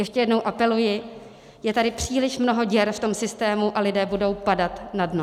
Ještě jednou apeluji, je tady příliš mnoho děr v tom systému a lidé budou padat na dno.